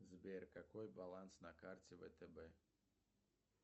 сбер какой баланс на карте втб